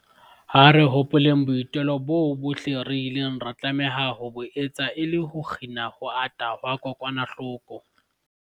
Ha re hopoleng boitelo boo bohle re ileng ra tlameha ho bo etsa e le ho kgina ho ata ha kokwanahloko